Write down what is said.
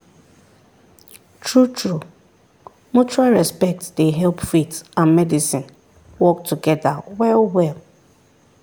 true-true mutual respect dey help faith and medicine work together well well.